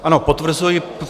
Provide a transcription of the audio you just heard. Ano, potvrzuji.